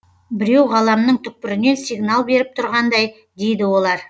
біреу ғаламның түкпірінен сигнал беріп тұрғандай дейді олар